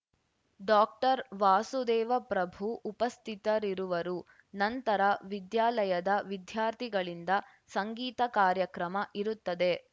ಡಾಕ್ಟರ್ವಾಸುದೇವ ಪ್ರಭು ಉಪಸ್ಥಿತರಿರುವರು ನಂತರ ವಿದ್ಯಾಲಯದ ವಿದ್ಯಾರ್ಥಿಗಳಿಂದ ಸಂಗೀತ ಕಾರ್ಯಕ್ರಮ ಇರುತ್ತದೆ